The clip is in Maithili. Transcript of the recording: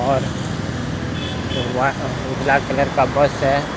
और उराव उजला कलर का बस है।